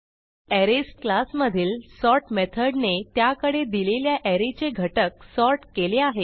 arrays class मधील sort मेथडने त्याकडे दिलेल्या arrayचे घटक सॉर्ट केले आहेत